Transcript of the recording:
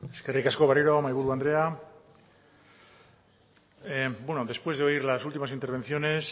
eskerrik asko berriro mahaiburu andrea después de oír las últimas intervenciones